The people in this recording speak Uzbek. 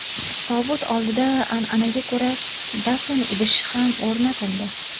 Tobut oldida an’anaga ko‘ra dafn idishi ham o‘rnatildi.